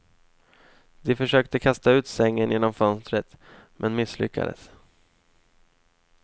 De försökte kasta ut sängen genom fönstret, men misslyckades.